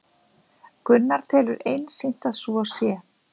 Gunnar telur einsýnt að svo sé